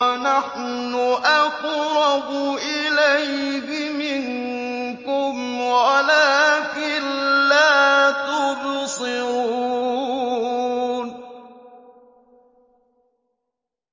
وَنَحْنُ أَقْرَبُ إِلَيْهِ مِنكُمْ وَلَٰكِن لَّا تُبْصِرُونَ